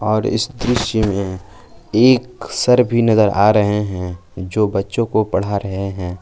और इस दृश्य में एक सर भी नजर आ रहे हैं जो बच्चों को पढ़ा रहे हैं।